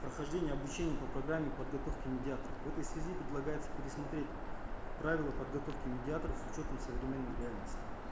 прохождение обучения по программе подготовки медиаторов в этой связи предлагается пересмотреть правила подготовки медиаторов с учетом современной реальности